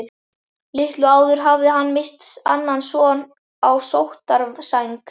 Litlu áður hafði hann misst annan son á sóttarsæng.